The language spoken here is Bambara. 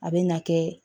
A bɛ na kɛ